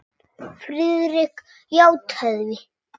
Friðrik játaði því.